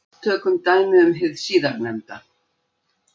Tökum dæmi um hið síðarnefnda.